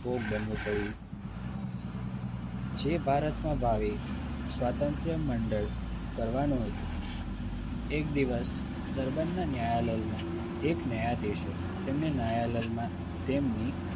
ભોગ બનવું પડ્યું જે ભારતમાં ભાવે સ્વાતંત્ર મંડળ કરવાનું હતું. તે જ દિવસ પોરબંદરના ન્યાયાલયમાં એક ન્યાયાધીશ એ તેમણે ન્યાયાલયમાં તેમની